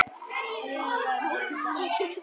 Mér verður flökurt